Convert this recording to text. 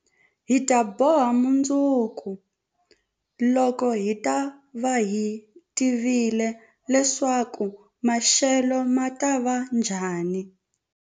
Hi ta boha mundzuku, loko hi ta va hi tivile leswaku maxelo ma ta va njhani.